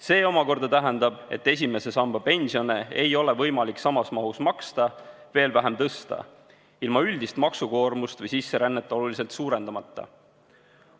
See omakorda tähendab, et esimese samba pensione ei ole võimalik samas mahus maksta, veel vähem tõsta ilma üldist maksukoormust või sisserännet oluliselt suurendamata.